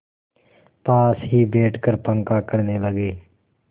पास ही बैठकर पंखा करने लगी